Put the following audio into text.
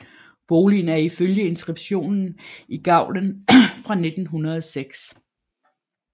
Boligen er ifølge inskriptionen i gavlen fra 1906